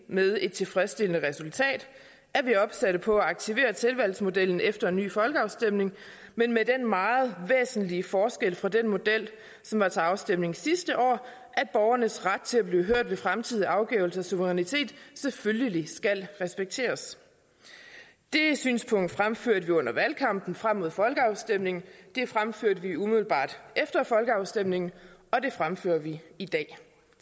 med et tilfredsstillende resultat er vi opsat på at aktivere tilvalgsmodellen efter en ny folkeafstemning men med den meget væsentlige forskel fra den model som var til afstemning sidste år at borgernes ret til at blive hørt ved fremtidige afgivelser af suverænitet selvfølgelig skal respekteres det synspunkt fremførte vi under valgkampen frem mod folkeafstemningen det fremførte vi umiddelbart efter folkeafstemningen og det fremfører vi i dag